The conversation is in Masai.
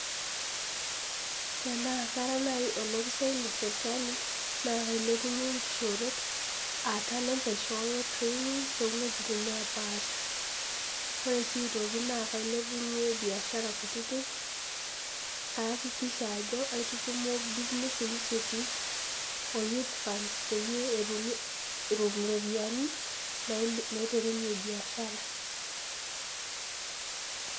Tanaa Kara naai olopisai le serkali naa keilepunye inkishorot um talent, aishooyo training too inwuetin napaasha. Ore sii aitokie naa keilepunye biashara kutitik, kaakikisha ajo kaitutumo business initiative o youth funds peyie atumoki iropiani naiterunye biashara.